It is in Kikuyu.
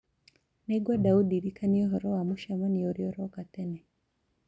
nĩ ngwenda ũndirikanie ũhoro wa mũcemanio ũrĩa ũroka tene